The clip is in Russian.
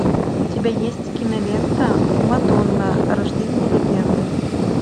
у тебя есть кинолента мадонна рождение легенды